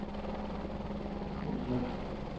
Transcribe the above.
Hundslund